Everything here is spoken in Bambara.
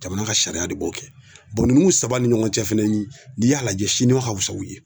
Jamana ka sariya de b'o kɛ saba ni ɲɔgɔn cɛ fɛnɛ ni y'a lajɛ Siniwa ka fisa u ye.